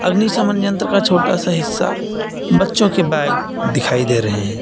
अग्निशमन यंत्र का छोटा सा हिस्सा बच्चों के बैग दिखाई दे रहे हैं।